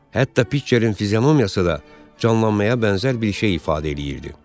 Hətta Pitçerin fizionomiyası da canlanmaya bənzər bir şey ifadə eləyirdi.